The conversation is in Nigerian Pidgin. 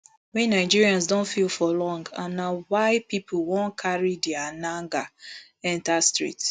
wey nigerians don feel for long and na why pipo wan carry dia nager enta street